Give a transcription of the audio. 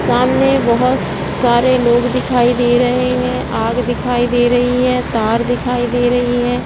सामने बहुत स- सारे लोग दिखाई दे रहे हैं आग दिखाई दे रही है तार दिखाई दे रही है ।